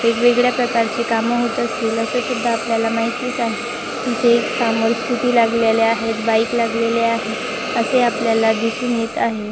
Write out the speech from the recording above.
वेगवेगळ्या प्रकारची काम होत असतील अस सुद्धा आपल्याला माहितीच आहे इथे एक सामोर स्कूटी लागलेली आहे बाइक लागलेल्या आहे असे आपल्याला दिसून येत आहे.